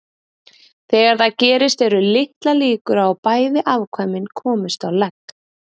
Þegar það gerist eru litlar líkur á að bæði afkvæmin komist á legg.